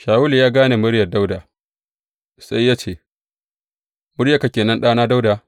Shawulu ya gane muryar Dawuda, sai ya ce, Muryarka ke nan ɗana Dawuda?